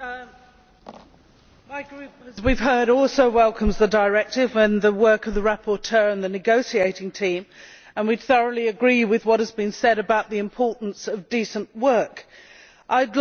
Mr President, as we have heard, my Group also welcomes the Directive and the work of the rapporteur and the negotiating team, and we thoroughly agree with what has been said about the importance of decent work. I would also